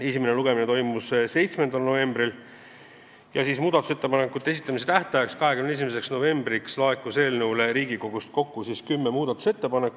Esimene lugemine toimus 7. novembril ja muudatusettepanekute esitamise tähtajaks, 21. novembriks laekus Riigikogust kokku kümme muudatusettepanekut.